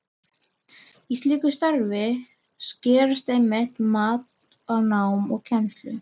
Í slíku starfi skarast einmitt mat á námi og kennslu.